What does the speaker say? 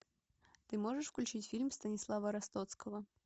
ты можешь включить фильм станислава ростоцкого